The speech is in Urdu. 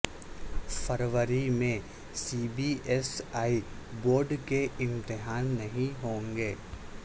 فروری میں C B S E board کے امتحان نہیں ہوں گے